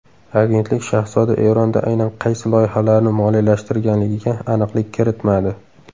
Agentlik shahzoda Eronda aynan qaysi loyihalarni moliyalashtirganligiga aniqlik kiritmadi.